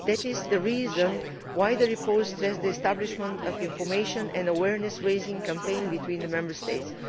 That is the reason why the report stressed the establishment of the information and awareness raising campaign between the Member States.